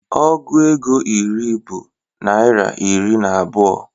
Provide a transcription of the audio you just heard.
Ọgụ égo iri bụ naira iri na abụọ